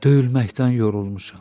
Döyülməkdən yorulmuşam.